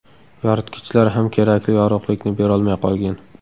Yoritgichlar ham kerakli yorug‘likni berolmay qolgan.